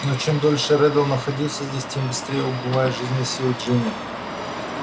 но чем дольше реддл находится здесь тем быстрее убывают жизненные силы джинни